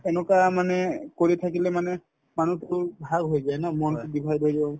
সেনেকুৱা মানে কৰি থাকিলে মানে মানুহটো ভাগ হৈ যায় ন মনতো divide হৈ গল